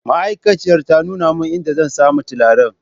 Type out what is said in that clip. Ma'aikaciyar ta nuna min idan zan sami turare